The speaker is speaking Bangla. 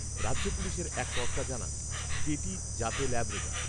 রাজ্য পুলিশের এক কর্তা জানান, কেটি জাতে ল্যাব্রেডর